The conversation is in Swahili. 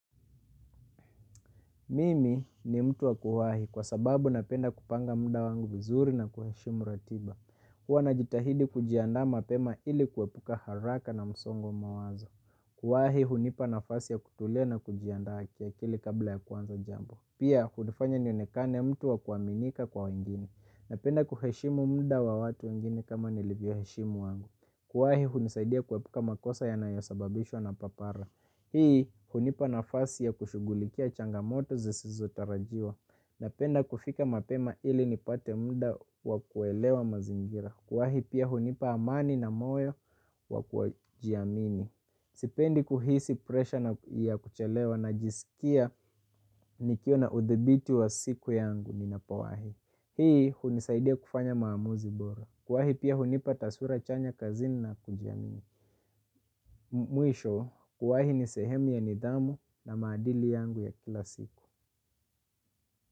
Mimi ni mtu wa kuwaho kwa sababu napenda kupanga muda wangu vizuri na kuheshimu ratiba. Huwa najitahidi kujiandaa mapema ili kuepuka haraka na msongo wa mawazo. Kuwahi hunipa nafasi ya kutulia na kujiandaa kiakili kabla ya kuanza jambo. Pia, hunifanya nionekane mtu wa kuaminika kwa wengine. Napenda kuheshimu mda wa watu wengine kama nilivyo heshimu wangu. Kuwahi hunisaidia kuepuka makosa yanayosababishwa na papara. Hii hunipa nafasi ya kushughulikia changamoto zisizotarajiwa napenda kufika mapema ili nipate muda wa kuelewa mazingira. Kuwahi pia hunipa amani na moyo wa kujiamini. Sipendi kuhisi presha na kuchelewa najiskia nikiona udhibiti wa siku yangu ninapowahi. Hii hunisaidia kufanya maamuzi bora. Kuwahi pia hunipa taswira chanya kazini na kujiamini. Mwisho kuwahi ni sehemu ya nidhamu na maadili yangu ya kila siku.